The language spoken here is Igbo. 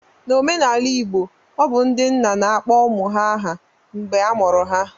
N'omenala Igbo, obu ndị nna na akpọ ụmụ ha aha mgbe a mụrụ ha